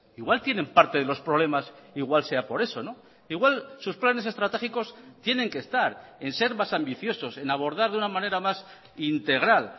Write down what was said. igual tienen parte de los problemas igual sea por eso igual sus planes estratégicos tienen que estar en ser más ambiciosos en abordar de una manera más integral